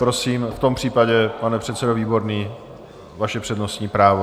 Prosím, v tom případě, pane předsedo Výborný, vaše přednostní právo.